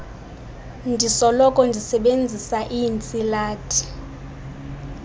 ndisoloko ndisebenzisa iintsilathi